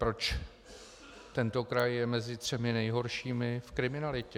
Proč tento kraj je mezi třemi nejhoršími v kriminalitě.